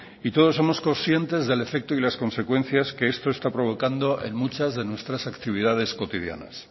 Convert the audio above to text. todos somos conscientes del efecto y las consecuencias que esto está provocando en muchas de nuestras actividades cotidianas